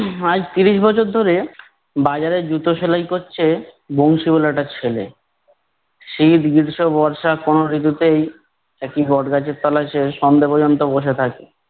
আজ ত্রিশ বছর ধরে বাজারে জুতো সেলাই করছে বংশী ওয়ালাটার ছেলে, শীত গ্রীষ্ম বর্ষা কোনো ঋতুতেই একটি বট গাছের তলায় সে সন্ধ্যে পর্যন্ত বসে থাকে।